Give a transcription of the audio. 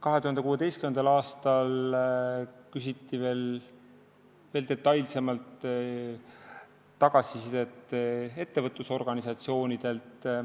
2016. aastal küsiti ettevõtlusorganisatsioonidelt veel detailsemat tagasisidet.